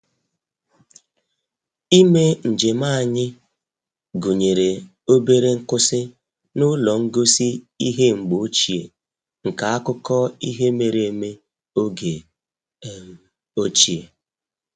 Ime njem anyị gụnyere obere nkwụsị n'ụlọ ngosi ihe mgbe ochie nke akụkọ ihe mere eme oge um ochie